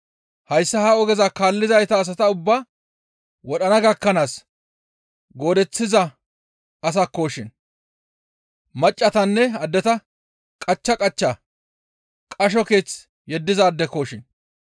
Hayssa ha ogeza kaalliza asata ubbaa wodhana gakkanaas goodaththiza asakkoshin; maccassatanne addeta qachcha qachcha qasho keeth yeddizaadekoshin.